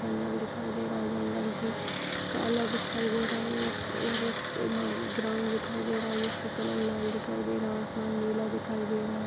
जंगल दिखाई दे रहा हैं जंगल भी काला दिखाई दे रहा हैं और एक इसमें ग्राउंड दिखाई दे रहा हैं जिसका कलर लाल दिखाई दे रहा हैं आसमान नीला दिखाई दे रहा हैं।